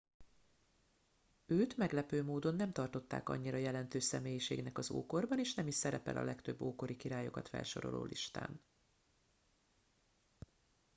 őt meglepő módon nem tartották annyira jelentős személyiségnek az ókorban és nem is szerepel a legtöbb ókori királyokat felsoroló listán